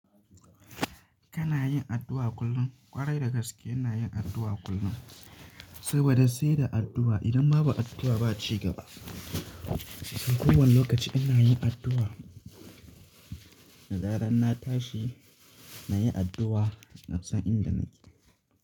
Kana yin addu'a kullum. Kwarai da gaske ina yin addu'a kullum, saboda sai da addu'a. Idan babu addu'a ba, ci gaba. Ko wani lokaci ina yin addu'a. Da zaran na tashi na yi addu'a, na san inda nike.